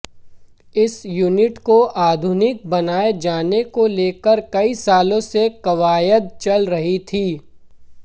इस यूनिट को आधुनिक बनाए जाने को लेकर कई सालों से कवायद चल रही थी